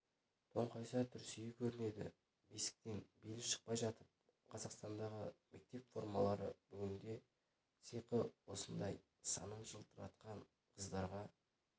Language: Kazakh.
тоңқайса трусиі көрінеді бесіктен белі шықпай жатып қазақстандағы мектеп формалары бүгінде сиқы осындай санын жалтыратқан қыздарға